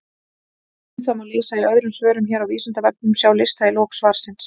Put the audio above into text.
Um það má lesa í öðrum svörum hér á Vísindavefnum, sjá lista í lok svarsins.